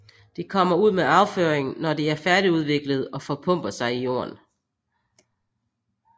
De kommer ud med afføringen når de er færdigudviklede og forpupper sig i jorden